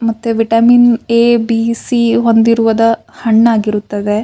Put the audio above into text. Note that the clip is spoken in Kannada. ಮತ್ತೆ ವಿಟಮಿನ್ ಎ ಬಿ ಸಿ ಹೊಂದಿರುವದ ಹಣ್ಣಾಗಿರುತ್ತದೆ.